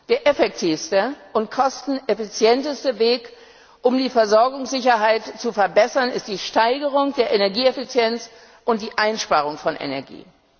Der effektivste und kosteneffizienteste Weg, um die Versorgungssicherheit zu verbessern, ist ganz klar die Steigerung der Energieeffizienz und die Einsparung von Energie.